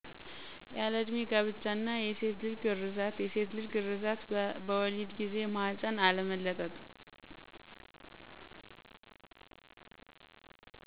ያለእድሜ ጋብቻ እና የሴትልጅ ግረዛት የሴትልጅ ግረዛት በወሊድ ጊዜ ማህፀን አለመለጥ